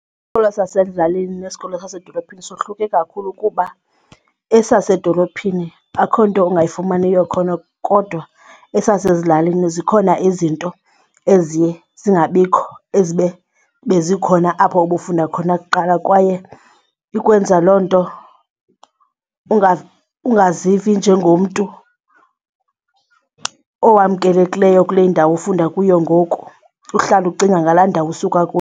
Isikolo sasezilalini nesikolo sasedolophini sohluke kakhulu kuba esasedolophini akho nto ungayifumaniyo khona kodwa esasezilalini zikhona izinto eziye zingabikho ezibe bezikhona apho ubufunda khona kuqala. Kwaye ikwenza loo nto ungazivi njengomntu owamkelekileyo kule ndawo ufunda kuyo ngoku, uhlale ucinga ngala ndawo usuka kuyo.